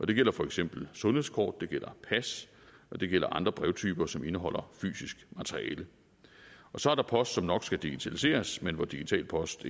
det gælder for eksempel sundhedskort det gælder pas og det gælder andre brevtyper som indeholder fysisk materiale og så er der post som nok skal digitaliseres men hvor digital post